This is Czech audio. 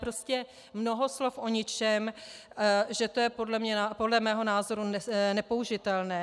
Prostě mnoho slov o ničem, že to je podle mého názoru nepoužitelné.